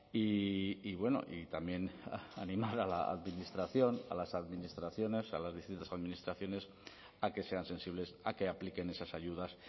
y bueno y también animar a la administración a las administraciones a las distintas administraciones a que sean sensibles a que apliquen esas ayudas